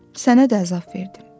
Sənə də əzab verdim.